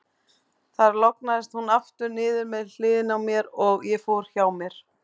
Þar lognaðist hún aftur niður með hliðinni á mér, og ég fór hjá mér.